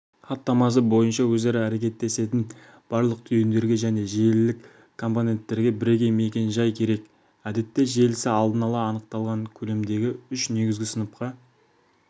хаттамасы бойынша өзара әрекеттесетін барлық түйіндерге және желілік компонентерге бірегей мекен-жай керек әдетте желісі алдын ала анықталған көлемдегі үш негізгі сыныпқа